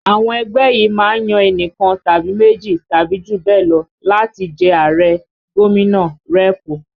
Àwọn ẹgbẹ́ yìí má ń yan enikan tàbí méjì tàbí jù bẹ́ẹ̀ lọ láti jẹ Ààrẹ, gómìnà, rẹ́ẹ̀pù